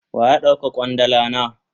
Waya dauka kwandala na?